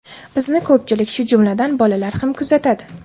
Bizni ko‘pchilik, shu jumladan, bolalar ham kuzatadi.